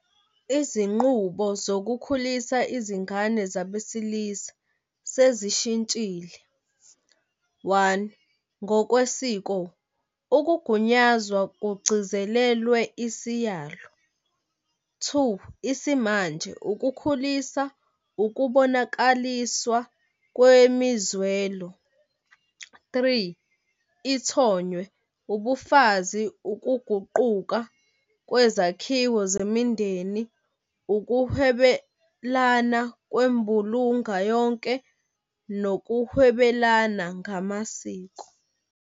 Izinqubo zokukhulisa izingane zabesilisa sezishintshile, one, ngokwesiko, ukugunyazwa kugcizelelwe isiyalo. Two, isimanje, ukukhulisa ukubonakaliswa kwemizwelo. Three, ithonywe, ubufazi, ukuguquka kwezakhiwo zemindeni, ukuhwebalana kwembulunga yonke nokuhwebalana ngamasiko.